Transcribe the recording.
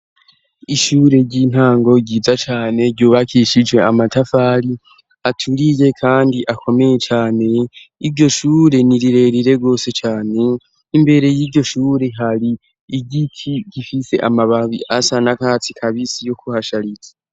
Ishure ry'intango ryiza cane ryubakishije amatafari aturiye kandi akomeye cane iryoshure nirirerire rwose cane imbere y'iryoshure hari igiki gifise amababi asa nakatsi kabisi yo kuhashariza.